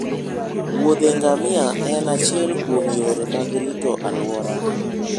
Wuodhe ngamia en achiel kuom yore mag rito alwora